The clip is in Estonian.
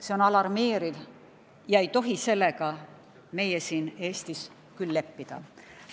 See on alarmeeriv ja sellega ei tohi meie siin Eestis küll leppida.